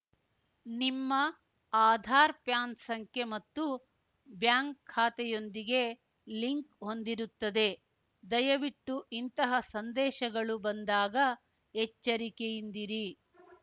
ನಿಮ್ಮ ಆಧಾರ್‌ ಪ್ಯಾನ್‌ ಸಂಖ್ಯೆ ಮತ್ತು ಬ್ಯಾಂಕ್‌ ಖ್ಯಾತೆಯೊಂದಿಗೆ ಲಿಂಕ್‌ ಹೊಂದಿರುತ್ತದೆ ದಯವಿಟ್ಟು ಇಂತಹ ಸಂದೇಶಗಳು ಬಂದಾಗ ಎಚ್ಚರಿಕೆಯಿಂದಿರಿ